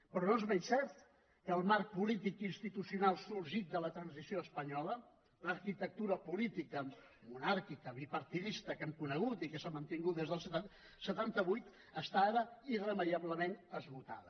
però no és menys cert que el marc polític i institucional sorgit de la transició espanyola l’arquitectura política monàrquica bipartidista que hem conegut i que s’ha mantingut des del setanta vuit està ara irremeiablement esgotada